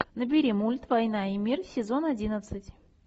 набери мульт война и мир сезон одиннадцать